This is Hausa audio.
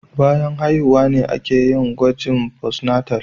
Bayan haihuwa ne a ke yin gwahin "postnatal".